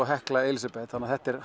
Hekla Elísabet þetta er